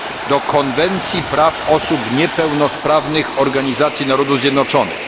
do Konwencji Praw Osób Niepełnosprawnych Organizacji Narodów Zjednoczonych.